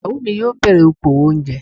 Ìyàwó mi yóò bẹ̀rẹ̀ okowò oúnjẹ.